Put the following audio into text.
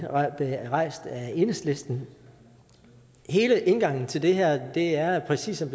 rejst af enhedslisten er hele indgangen til det her her præcis som